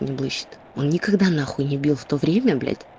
никогда нахуй не бил в то время блять